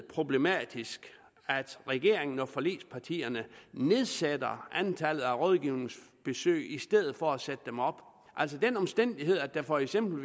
problematisk at regeringen og forligspartierne nedsætter antallet af rådgivningsbesøg i stedet for at sætte dem op den omstændighed at der for eksempel